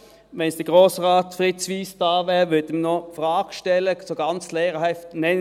Wenn Grossrat Fritz Wyss hier wäre, würde ich ihm ganz lehrerhaft folgende Frage stellen: